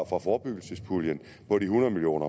fra forebyggelsespuljen på de hundrede million